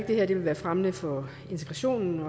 det her vil være fremmende for integrationen